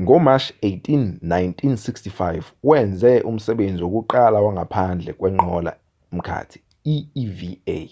ngomashi-18 1965 wenze umsebenzi wokuqala wangaphandle kwenqola-mkhathi i-eva